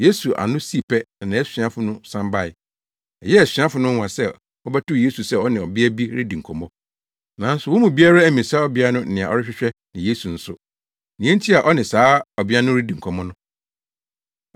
Yesu ano sii pɛ na nʼasuafo no san bae. Ɛyɛɛ asuafo no nwonwa sɛ wɔbɛtoo Yesu sɛ ɔne ɔbea bi redi nkɔmmɔ. Nanso wɔn mu biara ammisa ɔbea no nea ɔrehwehwɛ ne Yesu nso, nea enti a ɔne saa ɔbea no redi nkɔmmɔ no.